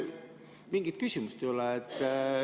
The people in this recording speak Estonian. Mingit küsimust ei ole.